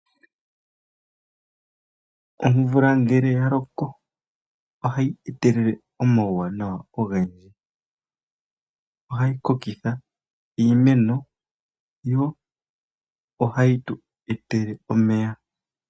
Omvula ngele ya loko ohayi etelele omauwanawa ogendji. Ohayi kokitha iimeno yo ohayi tu etele omeya.